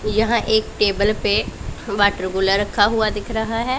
यहां एक टेबल पे वाटर कूलर रखा हुआ दिख रहा है।